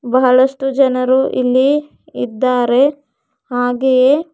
ಬಹಳಷ್ಟು ಜನರು ಇಲ್ಲಿ ಇದ್ದಾರೆ ಹಾಗೆಯೇ--